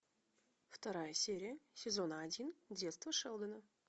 вторая серия сезона один детство шелдона